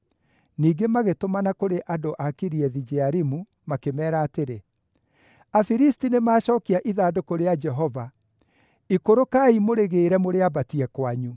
Ningĩ magĩtũmana kũrĩ andũ a Kiriathu-Jearimu, makĩmeera atĩrĩ, “Afilisti nĩmacookia ithandũkũ rĩa Jehova. Ikũrũkai mũrĩgĩĩre mũrĩambatie kwanyu.”